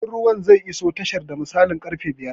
Jirgin ruwan zai iso tashar da misalin karfe biyu